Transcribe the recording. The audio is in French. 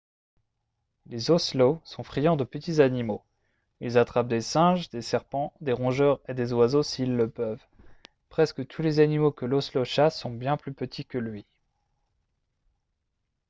les ocelots sont friands de petits animaux ils attrapent des singes des serpents des rongeurs et des oiseaux s'ils le peuvent presque tous les animaux que l'ocelot chasse sont bien plus petits que lui